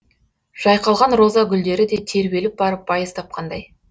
жайқалған роза гүлдері де тербеліп барып байыз тапқандай